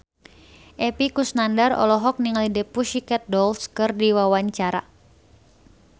Epy Kusnandar olohok ningali The Pussycat Dolls keur diwawancara